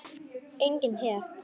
Enginn her.